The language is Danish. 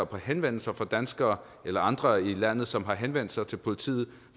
på henvendelser fra danskere eller andre i landet som har henvendt sig til politiet